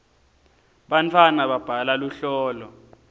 bantwana babhala luhlolo